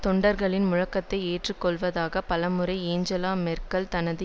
தொண்டர்களின் முழக்கத்தை ஏற்று கொள்வதற்காக பலமுறை ஏஞ்சலா மெர்க்கல் தனது